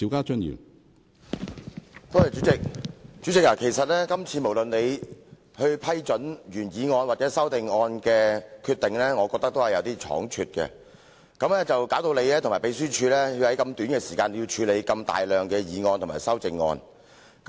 主席，今次無論是你批准擬議決議案或修訂議案的決定，我認為都是過於倉卒，以致你和秘書處需要在如此短促的時間內處理大量的擬議決議案或修訂議案。